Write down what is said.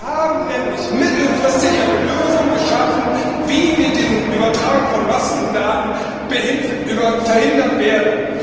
Wir haben nämlich mittelfristig eine Lösung geschaffen, wie wir die Übertragung von Massendaten verhindern werden.